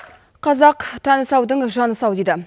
қазақ тәні саудың жаны сау дейді